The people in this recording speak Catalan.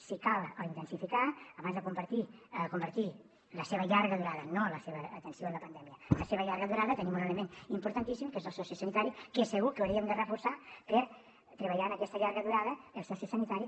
si cal intensificar lo abans de convertir la seva llarga durada no la seva atenció en la pandèmia la seva llarga durada tenim un element importantíssim que és el sociosanitari que segur que hauríem de reforçar per treballar aquesta llarga durada el sociosanitari